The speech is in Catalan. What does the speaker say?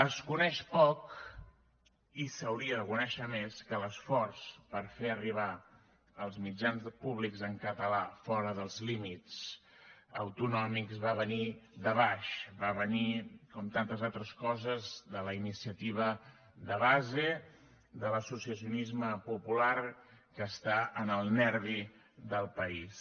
es coneix poc i s’hauria de conèixer més que l’esforç per fer arribar els mitjans públics en català fora dels límits autonòmics va venir de baix va venir com tantes altres coses de la iniciativa de base de l’associacionisme popular que està en el nervi del país